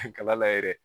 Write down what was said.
Kala layɛ dɛ